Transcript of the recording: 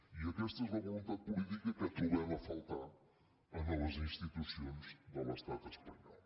i aquesta és la voluntat política que trobem a faltar a les institucions de l’estat espanyol